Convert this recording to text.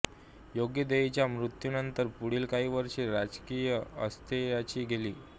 ओगदेईच्या मृत्यूनंतर पुढील काही वर्षे राजकीय अस्थैर्याची गेली